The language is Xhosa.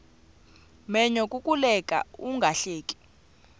menyo kukuleka ungahleki